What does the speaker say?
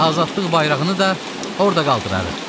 Azadlıq bayrağını da orda qaldırarıq.